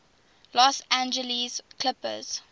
los angeles clippers